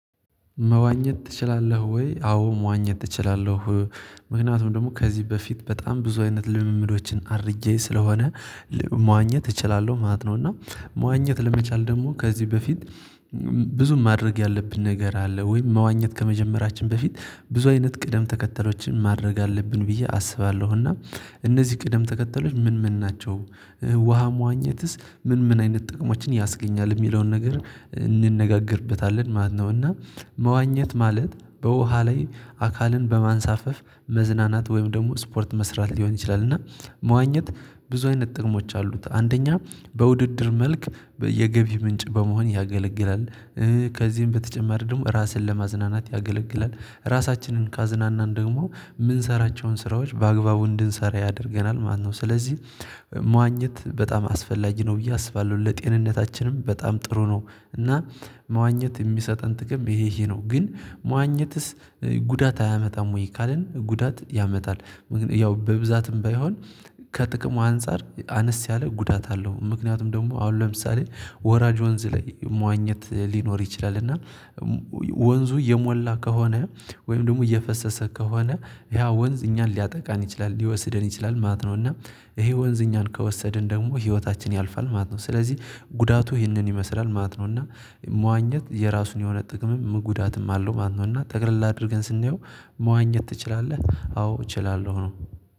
መዋኘት ትችላለህ ወይ? አዎ መዋኘት ትችላለህ። ምክንያቱም ደግሞ ከዚህ በፊት በጣም ብዙ አይነት ልምምዶችን አድርጌ ስለሆነ መዋኘት እችላለሁ ማለት ነው። እና መዋኘት ለመቻል ደግሞ ከዚህ በፊት ብዙም ማድረግ ያለብን ነገር አለ። ወይም መዋኘት ከመጀመራችን በፊት ብዙ አይነት ቅደም ተከተሎችን ማድረግ አለብን ብዬ አስባለሁ። እና እነዚህ ቅደም ተከተሎች ምን ምን ናቸው? ውሃ መዋኘትስ ምን ምን አይነት ጥቅሞችን ያስገኛል የሚለውን ነገር? እንነጋገርበታለን ማለት ነው። እና መዋኘት ማለት በውሃ ላይ አካልን በማንሳፈፍ መዝናናት ወይም ደግሞ ስፖርት መስራት ሊሆን ይችላል። እና መዋኘት ብዙ አይነት ጥቅሞች አሉት። አንደኛ በውድድር መልክ የገቢ ምንጭ በመሆን ያገለግላል። ከዚህም በተጨማሪ ደግሞ ራስን ለማዝናናት ያገለግላል ራሳችንን ካዝናናን ደግሞ የምንሰራቸውን ስራዎች በአግባቡ እንድንሰራ ያደርገናል ማለት ነው። ስለዚህ መዋኘት በጣም አስፈላጊ ነው ብዬ አስባለሁ። ለጤንነታችንም በጣም ጥሩ ነው። እና መዋኘት የሚሰጠን ጥቅም ይሄ ይሄ ነው። ግን መዋኘትስ ጉዳት አያመጣም ወይ? ካልን ጉዳት ያመጣል። ያው በብዛትም ባይሆን ከጥቅሙ አንፃር አነስ ያለ ጉዳት አለው። ምክንያቱም ደግሞ አሁን ለምሳሌ ወራጅ ወንዝ ላይ መዋኘት ሊኖር ይችላል እና ወንዙ እየሞላ ከሆነ ወይም ደግሞ እየፈሰሰ ከሆነ ያ ወንዝ እኛን ሊያጠቃን ይችላል ሊወስደን ይችላል ማለት ነው። እና ይሄ ወንዝ እኛን ከወሰድን ደግሞ ህይወታችን ያልፋል ማለት ነው። ስለዚህ ጉዳቱ ይሄንን ይመስላል ማለት ነው። እና መዋኘት የራሱ የሆነ ጥቅምም ጉዳትም አለው ማለት ነው። እና ተቅለል አድርገን ስንየው መዋኘት ትችላለህ አዎ እችላለሁ ነው።